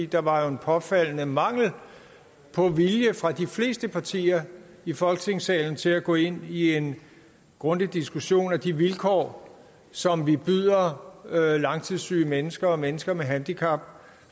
der var jo en påfaldende mangel på vilje fra de fleste partier i folketingssalens side til at gå ind i en grundig diskussion af de vilkår som vi i dag byder langtidssyge mennesker og mennesker med handicap